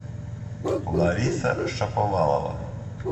лариса шаповалова